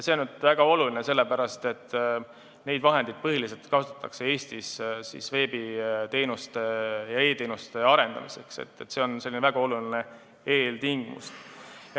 See on väga oluline sellepärast, et neid vahendeid kasutatakse põhiliselt Eestis veebiteenuste ja e-teenuste arendamiseks ning see on väga oluline eeltingimus.